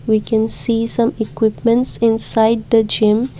we can see some equipments inside the gym.